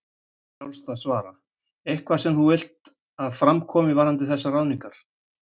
Frjálst að svara: Eitthvað sem þú vilt að fram komi varðandi þessar ráðningar?